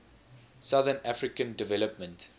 southern african development